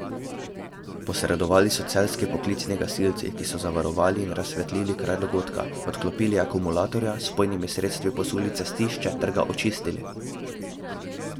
Posredovali so celjski poklicni gasilci, ki so zavarovali in razsvetlili kraj dogodka, odklopili akumulatorja, z vpojnimi sredstvi posuli cestišče ter ga očistili.